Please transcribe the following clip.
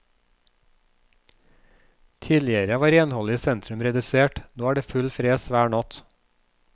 Tidligere var renholdet i sentrum redusert, nå er det full fres hver natt.